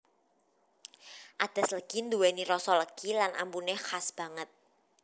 Adas legi nduweni rasa legi lan ambune khas banget